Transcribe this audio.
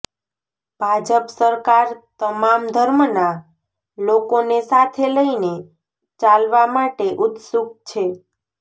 ભાજપ સરકાર તમામ ધર્મના લોકોને સાથે લઇને ચાલવા માટે ઉત્સુક છે